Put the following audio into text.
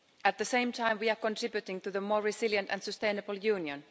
At the same time we are contributing to a more resilient and sustainable Union.